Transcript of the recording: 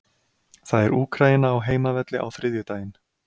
Það er Úkraína á heimavelli á þriðjudaginn.